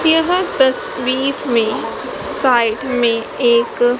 यह तस्वीर में साइड में एक--